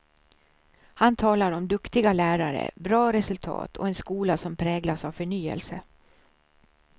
Han talar om duktiga lärare, bra resultat och en skola som präglas av förnyelse.